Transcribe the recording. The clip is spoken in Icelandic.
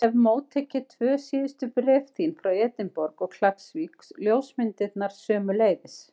Ég hef móttekið tvö síðustu bréf þín, frá Edinborg og Klakksvík, ljósmyndirnar sömuleiðis.